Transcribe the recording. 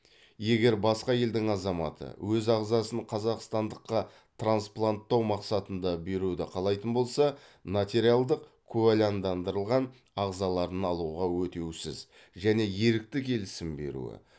егер басқа елдің азаматы өз ағзасын қазақстандыққа транспланттау мақсатында беруді қалайтын болса нотариалдық куәландырылған ағзаларын алуға өтеусіз және ерікті келісім беруі